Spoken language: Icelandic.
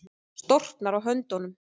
Storknar á höndunum.